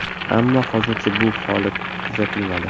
Ammo hozircha bu kabi holat kuzatilmadi.